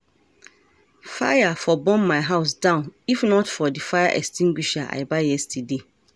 Fire for burn my house down if not for the fire extinguisher I buy yesterday